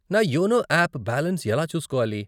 నా YONO app balance ఎలా చూసుకోవాలి?